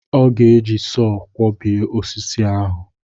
Ọ ga-eji sọọ kwọbie osisi ahụ.